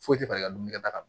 Foyi tɛ falen ka dun ka taga